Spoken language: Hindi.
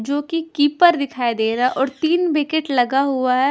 जो कि कीपर दिखाई दे रहा है और तीन विकेट लगा हुआ है।